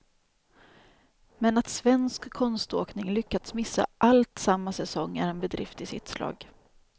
Men att svensk konståkning lyckats missa allt samma säsong är en bedrift i sitt slag.